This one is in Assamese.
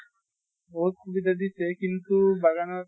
বহুত সুবিধা দিছে কিন্তু বাগানত